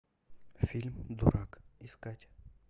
фильм дурак искать